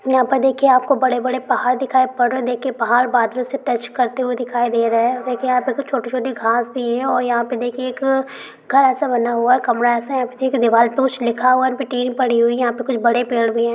यहाँ पे देखिये आपको बड़े बड़े पहाड़ दिखाय पड रहे है देखीये पहाड़ बादलो से टच करते दिखाय दे रहे है देखिये यहाँ पे कुछ छोटी छोटी घास भी है और यहाँ पे देखिये एक घर एसा बना हुआ है कमरा एसा है देखिये दीवार पे कुछ लिखा हुआ है टीवी पड़ी हुई है यहाँ पे कुछ बड़े पेड़ भी है।